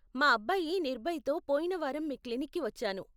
మా అబ్బాయి నిర్భయ్తో పొయిన వారం మీ క్లినిక్కి వచ్చాను.